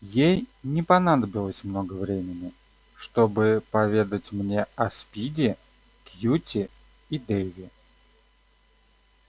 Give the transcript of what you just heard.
ей не понадобилось много времени чтобы поведать мне о спиди кьюти и дейве